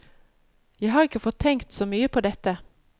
Jeg har ikke fått tenkt så mye på dette.